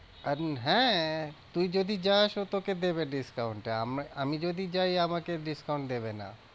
কারণ হ্যাঁ, তুই যদি যাস ও তোকে দেবে discount এ আমি যদি যাই আমাকে discount দেবে না।